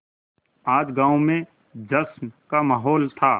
आज गाँव में जश्न का माहौल था